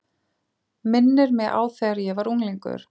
Minnir mig á þegar ég var unglingur.